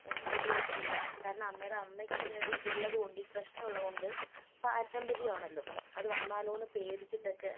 ഉപയോഗിക്കില്ല കാരണം അമ്മേടെ അമ്മയ്ക്ക് ഇത് ഉള്ളതുകൊണ്ട് ഈ പ്രശ്നം ഉള്ളതുകൊണ്ട് പാരമ്പര്യം ആണല്ലോ, അത് വന്നാലോന്ന് പേടിച്ചിട്ടൊക്കെ